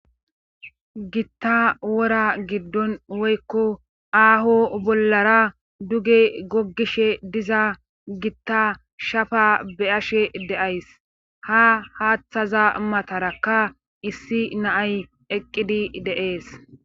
Gitta wora giddon woykko aaho bollara duge goggishe diza gitta shafa be ashe deays ha haaththaza matarakka issi naay eqqidi deees